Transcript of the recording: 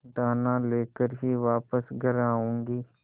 दाना लेकर ही वापस घर आऊँगी